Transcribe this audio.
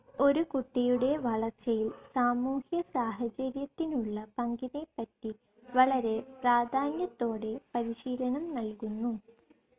ഒരു കുട്ടിയുടെ വളർച്ചയിൽ സാമൂഹ്യ സാഹചര്യത്തിനുള്ള പങ്കിനെപ്പറ്റി വളരെ പ്രാധാന്യത്തോടെ പരിശീലനം നൽകുന്നു.